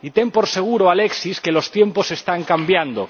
Y ten por seguro, Alexis, que los tiempos están cambiando.